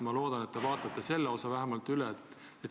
Ma loodan, et te vaatate selle keelu vähemalt üle.